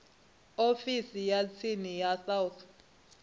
ofisi ya tsini ya south